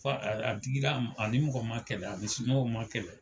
Fo a yɛrɛ, a digila a ni mɔgɔ ma kɛlɛ a ni somɔgɔw ma kɛlɛ.